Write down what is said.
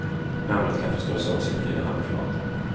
Namnet kan förstås också betyda handflata.